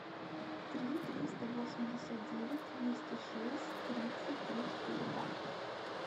три триста восемьдесят девять двести шесть тридцать три четыре два